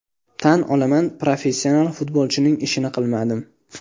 Tan olaman, professional futbolchining ishini qilmadim.